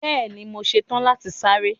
Bẹẹni, mọ sẹ́tan láti sárẹ̀.